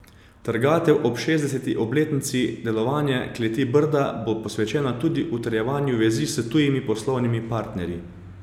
Trgatev ob šestdeseti obletnici delovanja Kleti Brda bo posvečena tudi utrjevanju vezi s tujimi poslovnimi partnerji.